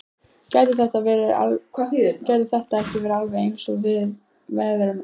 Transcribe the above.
Gætu þetta ekki alveg eins verið viðgerðarmenn?